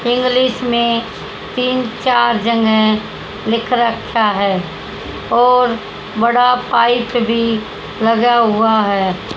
English में तीन चार जगह लिख रखा है और बड़ा पाइप भी लगा हुआ है।